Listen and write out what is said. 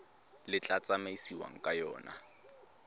le tla tsamaisiwang ka yona